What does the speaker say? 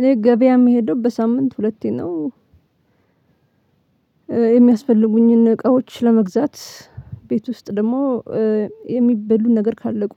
እኔ ገበያ የምሄደው በሳምንት ሁለቴ ነው። የሚያስፈልጉኝን እቃዎች ለመግዛት ቤት ውስጥ ደግሞ የሚበሉ ነገር ካለቁ